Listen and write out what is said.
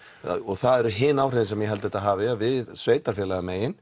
það eru hin áhrifin sem ég held þetta hafi að við